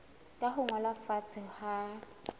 ka ho ngolwa fatshe ha